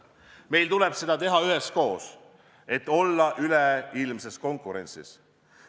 Meil tuleb seda teha üheskoos, et olla üleilmses konkurentsis.